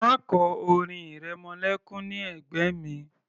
Má kọ orin ìrẹmọlékún ní ẹ̀gbẹ́ mi